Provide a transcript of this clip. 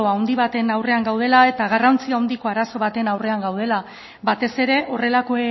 handi baten aurrean gaudela eta garrantzi handiko arazo baten aurrean gaudela batez ere horrelako